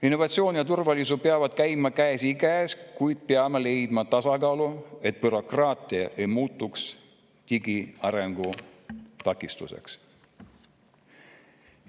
Innovatsioon ja turvalisus peavad käima käsikäes, kuid me peame leidma tasakaalu, et bürokraatia ei muutuks digiarengu takistuseks.